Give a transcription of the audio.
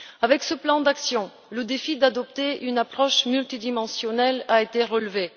Avec ce plan d'action, le défi d'adopter une approche multidimensionnelle a été relevé.